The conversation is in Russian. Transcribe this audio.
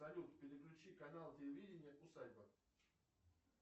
салют переключи канал телевидения усадьба